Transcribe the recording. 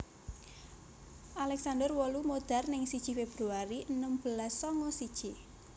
Alexander wolu modar neng siji Febuari enem belas sanga siji